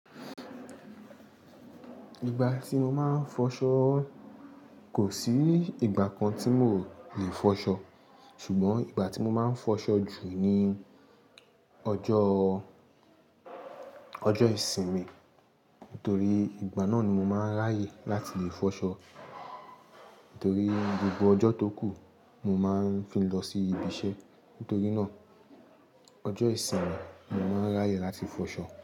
Ìgbà tí mo máa ń fọṣọ, kò sí ìgbà kan tí mò ò lè fọṣọ. Ṣùgbọ́n ìgbà tí mo máa ń fọṣọ jù ni ọjọ́, ọjọ́ ìsinmi. Nítorí ìgbà náà ni mo máa ń ráyè láti lè fọṣọ. Torí gbogbo ọjọ́ tó kù mo máa ń fi lọ sí ibi iṣẹ́. Torí náà ọjọ́ ìsinmi mo máa ń ráyè láti fọṣọ.